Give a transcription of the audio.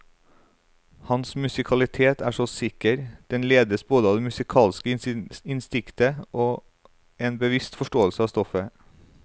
Hans musikalitet er så sikker, den ledes både av det musikalske instinktet og en bevisst forståelse av stoffet.